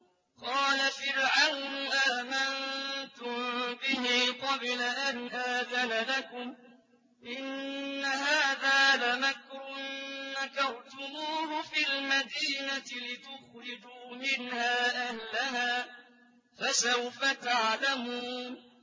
قَالَ فِرْعَوْنُ آمَنتُم بِهِ قَبْلَ أَنْ آذَنَ لَكُمْ ۖ إِنَّ هَٰذَا لَمَكْرٌ مَّكَرْتُمُوهُ فِي الْمَدِينَةِ لِتُخْرِجُوا مِنْهَا أَهْلَهَا ۖ فَسَوْفَ تَعْلَمُونَ